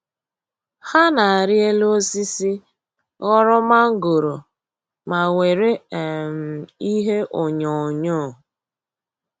Ha na-arị elu osisi, ghọrọ mangoro ma gwere um ihe onyoghonyoo